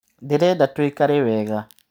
Ndĩreda tũikare wega.